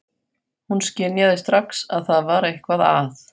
Hún skynjar strax að það er eitthvað að.